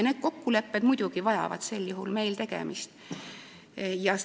Need kokkulepped vajavad sel juhul muidugi meil tegemist.